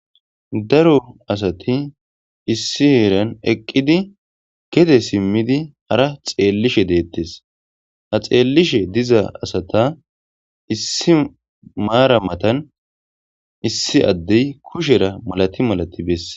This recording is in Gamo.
Daro asati issi heeran eqqidi gede simmidi hara xeellishe deettes ha xeellishe diza asata issi maara matan issi addey kushera malati malati besse.